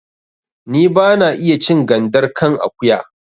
Ni ba na iya cin gandar kan akuya